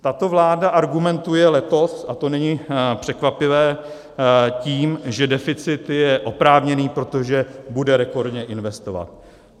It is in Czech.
Tato vláda argumentuje letos - a to není překvapivé - tím, že deficit je oprávněný, protože bude rekordně investovat.